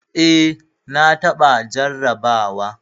Eh. na taɓa jarraba wa.